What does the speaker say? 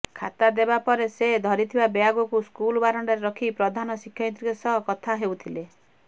ଖାତା ଦେବାପରେ ସେ ଧରିଥିବା ବ୍ୟାଗକୁ ସ୍କୁଲ ବାରଣ୍ଡାରେ ରଖି ପ୍ରଧାନ ଶିକ୍ଷୟିତ୍ରୀଙ୍କ ସହ କଥା ହେଉଥିଲେ